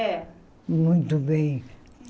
É. Muito bem.